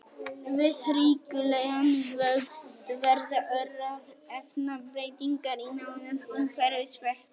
Við ríkulegan vöxt verða örar efnabreytingar í nánasta umhverfi sveppsins.